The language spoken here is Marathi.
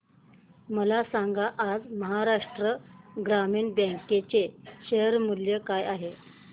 मला सांगा आज महाराष्ट्र ग्रामीण बँक चे शेअर मूल्य काय आहे